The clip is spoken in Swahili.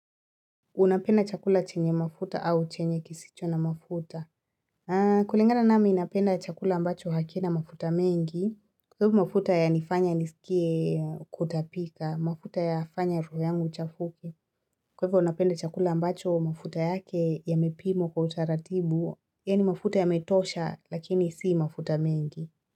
Unapenda chakula chenye mafuta au chenye kisicho na mafuta. Kulingana nami napenda chakula ambacho hakina mafuta mengi. Kwa hivyo mafuta ya nifanya niskie kutapika, mafuta yafanya roho yangu ichafuke. Kwa hivyo napenda chakula ambacho mafuta yake yamepimwa kwa utaratibu. Yaani mafuta yametosha lakini si mafuta mengi.